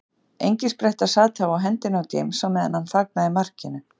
Engispretta sat þá á hendinni á James á meðan hann fagnaði markinu.